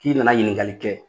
K'i nana ɲininkali kɛ